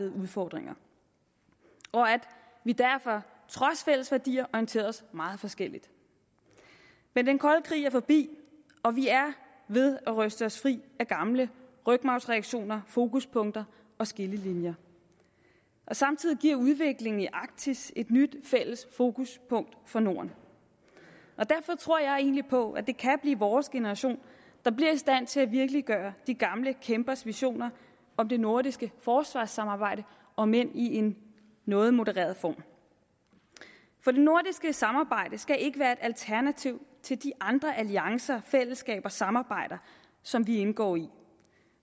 udfordringer og at vi derfor trods fælles værdier orienterede os meget forskelligt men den kolde krig er forbi og vi er ved at ryste os fri af gamle rygmarvsreaktioner fokuspunkter og skillelinjer samtidig giver udviklingen i arktis et nyt fælles fokuspunkt for norden derfor tror jeg egentlig på at det kan blive vores generation der bliver i stand til at virkeliggøre de gamle kæmpers visioner om det nordiske forsvarssamarbejde om end i en noget modereret form for det nordiske samarbejde skal ikke være et alternativ til de andre alliancer fællesskaber og samarbejder som vi indgår i